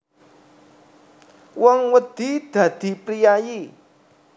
Wong wedi dadi priyayi